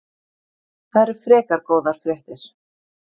Það eru frekar góðar fréttir.